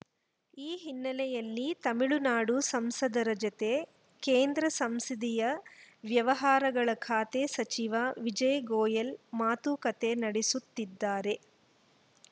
ಈ ಹಿನ್ನೆಲೆಯಲ್ಲಿ ತಮಿಳುನಾಡು ಸಂಸದರ ಜತೆ ಕೇಂದ್ರ ಸಂಸದೀಯ ವ್ಯವಹಾರಗಳ ಖಾತೆ ಸಚಿವ ವಿಜಯ್‌ ಗೋಯಲ್‌ ಮಾತುಕತೆ ನಡೆಸುತ್ತಿದ್ದಾರೆ